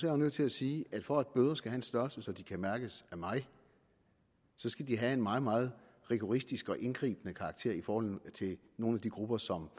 jeg nødt til at sige at for at bøder skal have en størrelse så de kan mærkes af mig så skal de have en meget meget rigoristisk og indgribende karakter i forhold til nogle af de grupper som